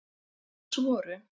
Alls voru